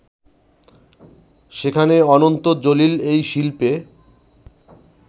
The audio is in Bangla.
সেখানে অনন্ত জলিল এই শিল্পে